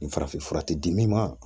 Nin farafin fura tɛ di min ma